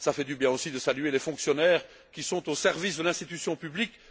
Cela fait du bien aussi de saluer les fonctionnaires, qui sont au service de l'institution publique.